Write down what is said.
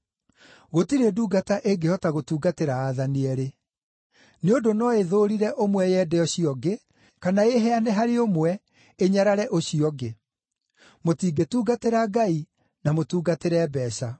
“Gũtirĩ ndungata ĩngĩhota gũtungatĩra aathani eerĩ. Nĩ ũndũ no ĩthũũrire ũmwe yende ũcio ũngĩ, kana ĩĩheane harĩ ũmwe, ĩnyarare ũcio ũngĩ. Mũtingĩtungatĩra Ngai na mũtungatĩre mbeeca.”